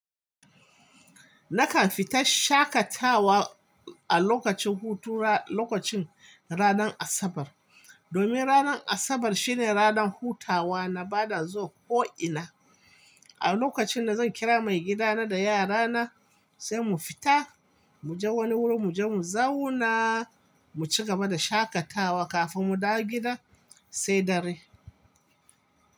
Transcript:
Nakan fita shaƙatawa a lokacin hutu ra-- lokacin ranar Asabar. Domin ranar Asabar shine ranar hutawa na ba da zuwa ko'ina. A lokacin da zan kira maigida na da yara na sai mu fita, muje wani wuri muje mu zauna, mu cigaba da shaƙatawa kafin mu dawo gida sai dare.